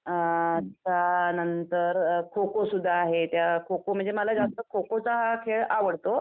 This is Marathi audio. अ त्यानंतर अ खो-खो सुद्धा आहे त्यात खो-खो म्हणजे मला जास्त खो-खोचा खेळ आवडतो.